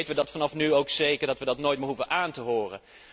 Dan weten wij vanaf nu ook zeker dat wij dat nooit meer hoeven aan te horen.